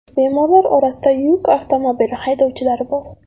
Bemorlar orasida yuk avtomobili haydovchilari bor.